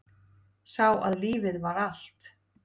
Sá að lífið var allt.